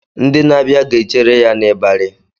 Ndị na-abịa ga-echere ya n'ịbarị